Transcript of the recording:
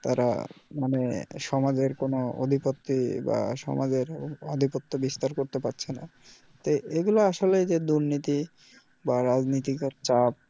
তারা মানে সমাজের কোনও অধিপত্তি বা সমাজের আধিপত্য বিস্তার করতে পারছে না তো এগুলো আসলেই যে দুর্নীতি বা রাজনীতিকর চাপ